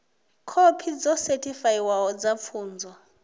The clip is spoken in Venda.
khophi dzo sethifaiwaho dza pfunzo